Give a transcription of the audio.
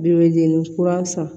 Bo jenini kura san